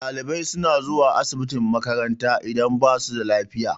Ɗalibai suna zuwa asibitin makaranta idan ba su da lafiya.